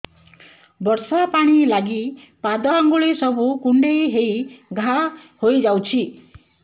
ବର୍ଷା ପାଣି ଲାଗି ପାଦ ଅଙ୍ଗୁଳି ସବୁ କୁଣ୍ଡେଇ ହେଇ ଘା ହୋଇଯାଉଛି